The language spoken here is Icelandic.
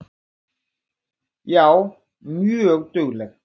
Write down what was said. Já, mjög dugleg.